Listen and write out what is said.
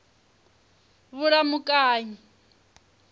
vhulamukanyi